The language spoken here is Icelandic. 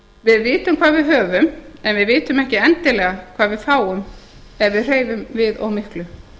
við vitum hvað við höfum en við vitum ekki endilega hvað við fáum ef við hreyfum við of miklu